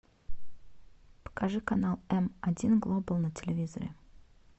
покажи канал м один глобал на телевизоре